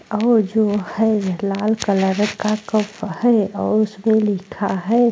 और जो है लाल कलर का कप है और उसमें लिखा है।